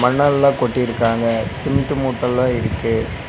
மணல்லா கொட்டிருக்காங்க சிமெண்ட் மூட்டலா இருக்கு.